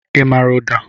I maara ụda?